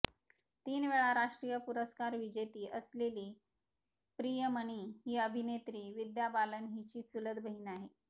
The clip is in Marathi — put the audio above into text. तीन वेळा राष्ट्रीय पुरस्कार विजेती असलेली प्रियमणी ही अभिनेत्री विद्या बालन हिची चुलत बहीण आहे